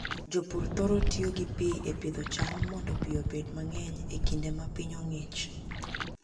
Jopur thoro tiyo gi pi e pidho cham mondo pi obed mang'eny e kinde ma piny ong'ich.